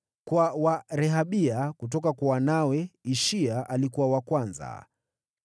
Kwa wa Rehabia, kutoka kwa wanawe: Ishia alikuwa wa kwanza.